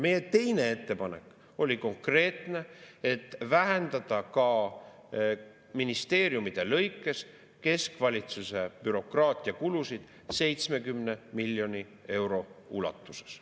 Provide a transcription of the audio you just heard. Meie teine ettepanek oli konkreetne: vähendada ka ministeeriumide lõikes keskvalitsuse bürokraatiakulusid 70 miljoni euro ulatuses.